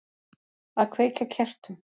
Að kveikja á kertum.